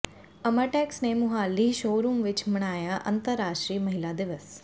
ਅਮਰਟੈਕਸ ਨੇ ਮੁਹਾਲੀ ਸ਼ੋਅਰੂਮ ਵਿਚ ਮਨਾਇਆ ਅੰਤਰਰਾਸ਼ਟਰੀ ਮਹਿਲਾ ਦਿਵਸ